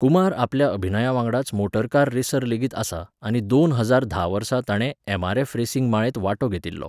कुमार आपल्या अभिनयावांगडाच motor car racer लेगीत आसा आनी दोन हजार धा वर्सा ताणे एम.आर.एफ. रेसिंग माळेंत वांटो घेतिल्लो.